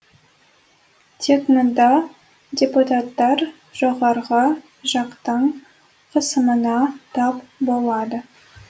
тек мұнда депутаттар жоғарғы жақтың қысымына тап болады